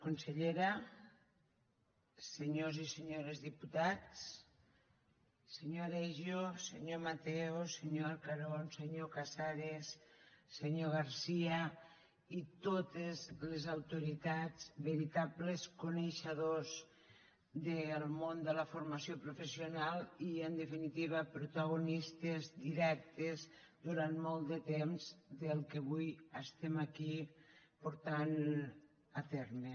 consellera senyors i senyores diputats senyor aregio senyor mateo senyor arcarons senyor casares senyor garcia i totes les autoritats veritables coneixedors del món de la formació professional i en definitiva protagonistes directes durant molt de temps del que avui estem aquí portant a terme